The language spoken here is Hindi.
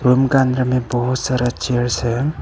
रूम का अंदर में बहुत सारा चेयर्स है।